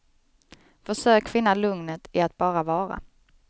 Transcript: Försök finna lugnet i att bara vara.